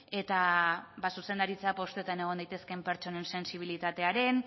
eta ba zuzendaritza postuetan egon daitezkeen pertsonen sentsibilitateren